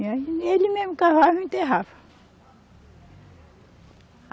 E aí, ele mesmo cavava e enterrava.